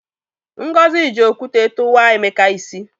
Ngozi ji okwute tụwa Emeka isi.